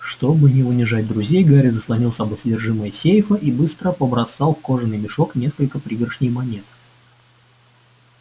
чтобы не унижать друзей гарри заслонил собой содержимое сейфа и быстро побросал в кожаный мешок несколько пригоршней монет